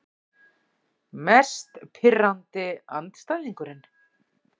Mest pirrandi andstæðingurinn?